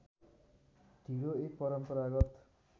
ढिँडो एक परम्परगत